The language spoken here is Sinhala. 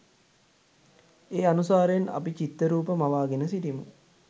ඒ අනුසාරයෙන් අපි චිත්තරූප, මවාගෙන සිටිමු.